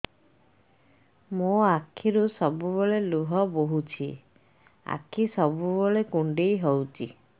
ମୋର ଆଖିରୁ ସବୁବେଳେ ଲୁହ ବୋହୁଛି ଆଖି ସବୁବେଳେ କୁଣ୍ଡେଇ ହଉଚି